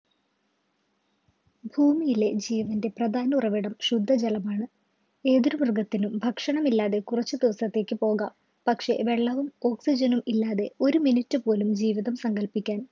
ഭൂമിയിലെ ജീവൻ്റെ പ്രധാന ഉറവിടം ശുദ്ധജലമാണ്. ഏതൊരു മൃഗത്തിനും ഭക്ഷണം ഇല്ലാതെ കുറച്ച് ദിവസത്തേക്ക് പോകാം പക്ഷേ വെള്ളവും oxygen നും ഇല്ലാതെ ഒരു minute പോലും ജീവിതം സങ്കൽപ്പിക്കാൻ